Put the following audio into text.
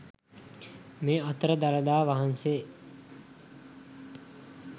මේ අතර දළදා වහන්සේ